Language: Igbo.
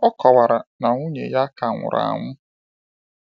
Ọ kọwara na nwunye ya ka nwụrụ anwụ.